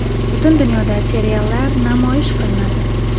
Butun dunyoda seriallar namoyish qilinadi.